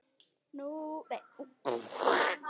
Láttu nú ekki svona